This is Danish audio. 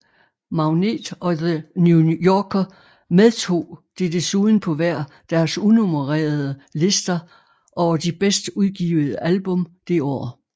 Magnet og The New Yorker medtog det desuden på hver deres unummererede lister over de bedste udgivede album det år